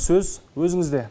сөз өзіңізде